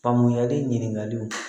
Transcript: Faamuyali ɲininkali